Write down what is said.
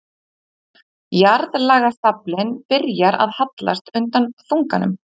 Jarðlagastaflinn byrjar að hallast undan þunganum.